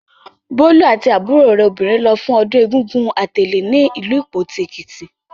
Bólú àti àbúrò rẹ̀ obìnrin lọ fún ọdún Egúngún Atèlè ní ìlú Ìpoti, Èkìtì.